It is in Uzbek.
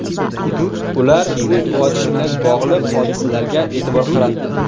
Ular o‘t ochish bilan bog‘liq hodisalarga e’tibor qaratdi.